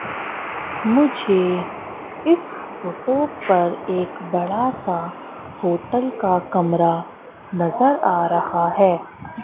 मुझे इस फोटो पर एक बड़ा सा होटल का कमरा नजर आ रहा है।